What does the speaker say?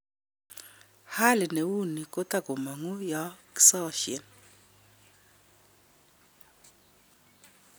Hali neu nii kotakomangu yokisasien